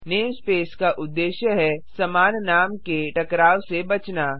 namespace का उद्देश्य है समान नाम के टकराव से बचना